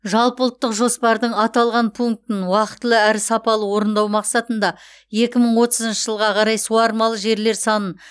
жалпыұлттық жоспардың аталған пунктін уақытылы әрі сапалы орындау мақсатында екі мың отызыншы жылға қарай суармалы жерлер санын